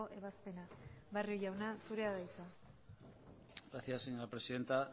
ebazpena barrio jauna zurea da hitza gracias señora presidenta